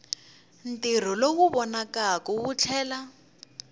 ntirho lowu vonakaka wu tlhela